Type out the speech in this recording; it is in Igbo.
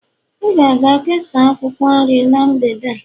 ị ga-aga kesaa akwukwor nrie n' mgbede a